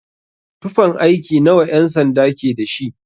Tufan aiki nawa ƴan-sanda ke dashi?